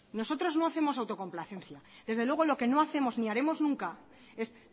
nosotros no hacemos autocomplacencia desde luego lo que no hacemos ni haremos nunca es